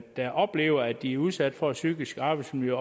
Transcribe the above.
der oplever at de er udsat for det psykiske arbejdsmiljø